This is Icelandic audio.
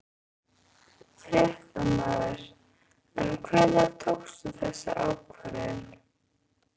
Fréttamaður: En hvenær tókstu þessa ákvörðun?